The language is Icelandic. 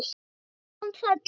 Hvernig kom það til?